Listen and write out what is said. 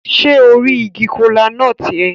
Se o ri igi kola-nut yẹn?